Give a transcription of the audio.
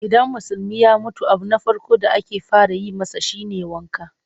Idan Musulmi ya mutu abu na farko da ake fara yi masa shi ne wanka.